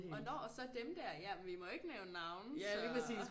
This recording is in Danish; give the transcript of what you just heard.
Og når og så dem der ja men vi må ikke nævne navne så